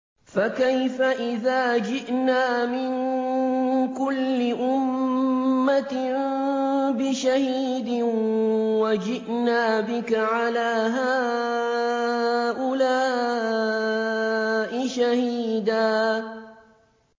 فَكَيْفَ إِذَا جِئْنَا مِن كُلِّ أُمَّةٍ بِشَهِيدٍ وَجِئْنَا بِكَ عَلَىٰ هَٰؤُلَاءِ شَهِيدًا